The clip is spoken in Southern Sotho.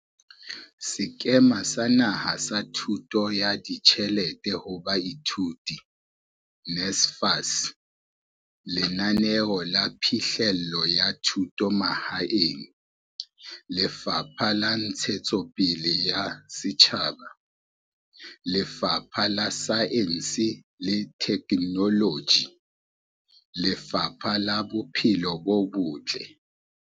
Sekema sa Naha sa Thuso ya Ditjhelete ho Baithuti, NSFAS, Lenaneo la Phihlello ya Thuto Mahaeng, Lefapha la Ntshetsopele ya Setjhaba, Lefapha la Saense le Theknoloji le Lefapha la Bophelo bo Botle.